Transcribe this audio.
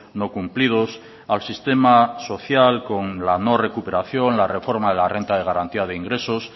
no cumplidos al sistema social con la no recuperación la reforma de la renta de garantía de ingresos